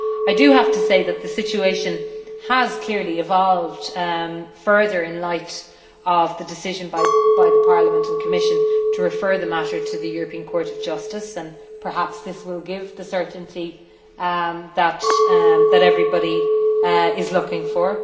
I do have to say that the situation has clearly evolved further in light of the decision by Parliament and the Commission to refer the matter to the European Court of Justice, and perhaps this will give the certainty that everybody is looking for.